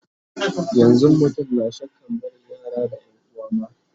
yanzun mutum na shakkan barin yara da yanuwa ma